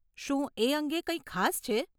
શું એ અંગે કંઈક ખાસ છે?